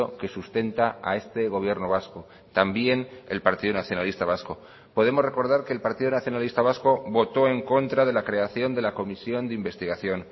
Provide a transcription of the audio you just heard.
que sustenta a este gobierno vasco también el partido nacionalista vasco podemos recordar que el partido nacionalista vasco votó en contra de la creación de la comisión de investigación